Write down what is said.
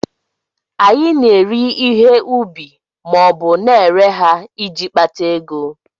Anyị na-eri ihe ubi ma ọ bụ na-ere ha iji kpata ego